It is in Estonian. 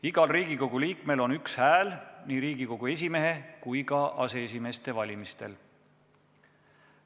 Igal Riigikogu liikmel on üks hääl nii Riigikogu esimehe kui ka aseesimeeste valimistel.